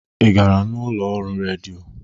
Ị gara n'ụlọ ọrụ redio?